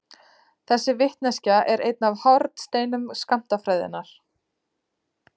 Þessi vitneskja er einn af hornsteinum skammtafræðinnar.